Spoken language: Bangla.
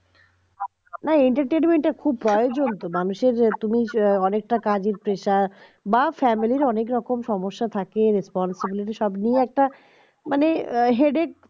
না entertainment টা খুব প্রয়োজন তো মানুষের তুমি অনেকটা কাজের pressure বা family র অনেক রকম সমস্যা থাকে responsibility সবগুলো একটা মানে headache